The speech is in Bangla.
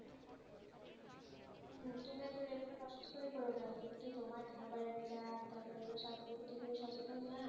কেন? তুমি কি তোমার খাবারেরটা তারপর তোমার স্বাস্থ্যের প্রতি তুমি সচেতন না